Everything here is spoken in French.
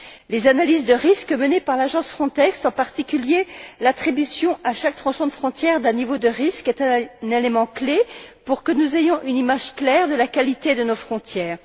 Les analyses de risques menées par l'agence Frontex, en particulier l'attribution à chaque changement de frontière d'un niveau de risque, est un élément clé pour que nous ayons une image claire de la qualité de nos frontières.